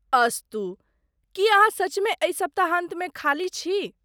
अस्तु , की अहाँ सचमे एहि सप्ताहान्तमे खाली छी?